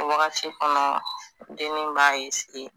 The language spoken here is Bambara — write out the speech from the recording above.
Wagati kɔnɔ dennin b'a